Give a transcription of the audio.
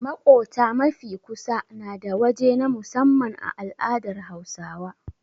Maƙota mafi kusa nada waje na musamman a al'adar Hausawa.